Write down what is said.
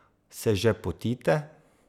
Se že potite?